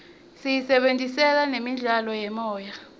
siyisebentisela nemidlalo yemoya